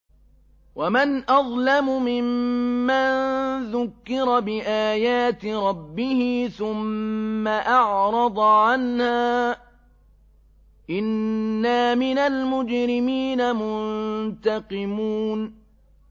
وَمَنْ أَظْلَمُ مِمَّن ذُكِّرَ بِآيَاتِ رَبِّهِ ثُمَّ أَعْرَضَ عَنْهَا ۚ إِنَّا مِنَ الْمُجْرِمِينَ مُنتَقِمُونَ